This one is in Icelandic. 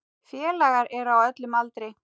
Félagar eru á öllum aldri.